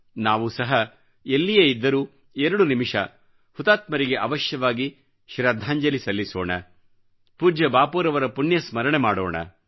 ನಾವೂ ಸಹ ಎಲ್ಲಿಯೇ ಇದ್ದರೂ 2 ನಿಮಿಷ ಹುತಾತ್ಮರಿಗೆ ಅವಶ್ಯವಾಗಿ ಶ್ರದ್ಧಾಂಜಲಿ ಸಲ್ಲಿಸೋಣ ಪೂಜ್ಯ ಬಾಪೂರವರ ಪುಣ್ಯಸ್ಮರಣೆಯನ್ನು ಮಾಡೋಣ